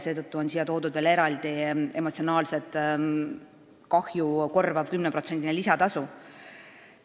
Seetõttu on siia veel eraldi lisatud emotsionaalset kahju korvav 10%-line lisatasu.